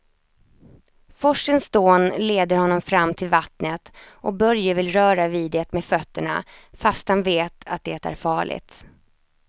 Forsens dån leder honom fram till vattnet och Börje vill röra vid det med fötterna, fast han vet att det är farligt.